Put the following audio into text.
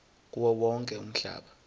kuwo wonke umhlaba